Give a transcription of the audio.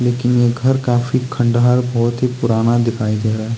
लेकिन ये घर काफी खंडहर बहुत ही पुराना दिखाई दे रहा है।